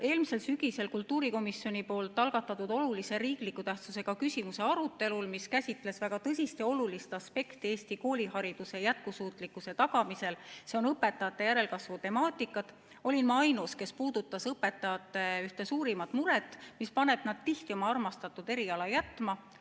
Eelmisel sügisel, kui arutati kultuurikomisjoni algatatud olulise tähtsusega riikliku küsimusena väga tõsist ja olulist aspekti Eesti koolihariduse jätkusuutlikkuse tagamisel, nimelt õpetajate järelkasvu temaatikat, olin ma ainus, kes puudutas õpetajate ühte suurimat muret, mis paneb nad tihti oma armastatud eriala jätma.